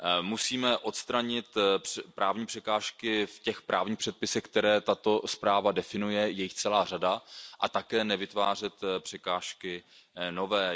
Musíme odstranit právní překážky v těch právních předpisech, které tato zpráva definuje, je jich celá řada a také nevytvářet překážky nové.